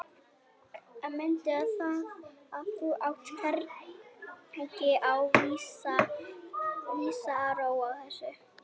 En mundu það að þú átt hvergi á vísan að róa í þessu.